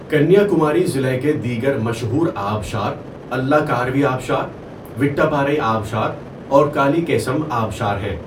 کنیا کماری ضلع کے دیگر مشہور آبشار الّکاروی آبشار، وٹّپارئی آبشار اور کالیکیسم آبشار ہیں۔